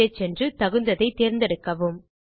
கீழே சென்று தகுந்ததைத் தேர்ந்தெடுக்கவும்